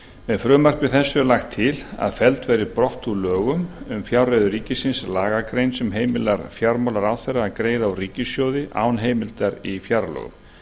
með frumvarpi þessu er lagt til felld verði brott úr lögum um fjárreiður ríkisins lagagrein sem heimilar fjármálaráðherra að greiða úr ríkissjóði án heimildar í fjárlögum